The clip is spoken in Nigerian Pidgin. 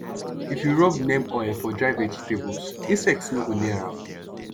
if you rub neem oil for dry vegetables insect no go near am